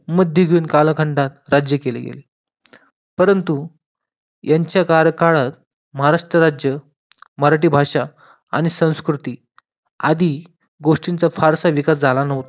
मध्ययुगीन कालखंडात राज्य केले गेले प रंतु यांच्या कार्यकाळात महाराष्ट्र राज्य मराठी भाषा आणि संस्कृती आदी गोष्टींचा फारसा विकास झाला नव्हता